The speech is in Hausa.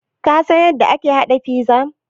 Ka san yadda ake haɗa pizza?